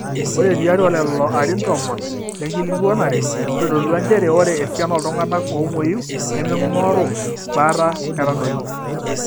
ore tiatwa lelo arin tomon lenkikilikuanare nitodolua njere ore esiana ooltung'anak oomweyu nemeing'oru baata netadoyie